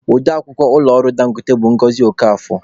Ode akwukwọ ụlọ ọrụ Dangote bụ Ngọzi Okafor.